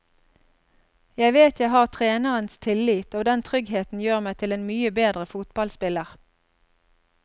Jeg vet jeg har trenerens tillit og den tryggheten gjør meg til en mye bedre fotballspiller.